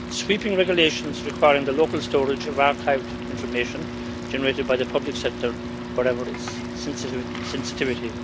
sweeping regulations requiring the local storage of archived information generated by the public sector whatever its sensitivity.